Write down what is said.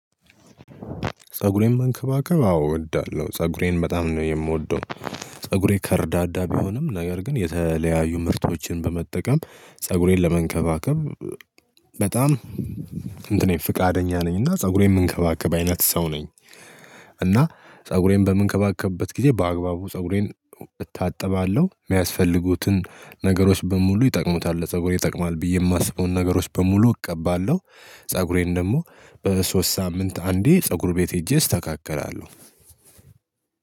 ፀጉሬን መንከባከብ አዎ እወዳለሁ ፀጉሬን በጣም ነው የምወደው። ፀጉሬ ከረዳዳ ቢሆንም ነገር ግን የተለያዩ ምርቶችን በመጠቀም ፀጉሬን ለመንከባከብ በጣም እንትኔ ፍቃደኛ ነኝ እና ፀጉሬን የምንከባከብ አይነት ሰው ነኝ። እና ፀጉሬን በምንከባከብበት ጊዜ በአግባቡ ፀጉሬን እታጠባለሁ የሚያስፈልጉትን ነገሮች በሙሉ ይጠቅሙታል ፀጉሬን ይጠቅማል ብዬ የማስበውን ነገሮች በሙሉ እቀባለሁ። ፀጉሬን ደግሞ በሶስት ሳምንት አንዴ ፀጉር ቤት ሄጄ እስተካከላለሁ።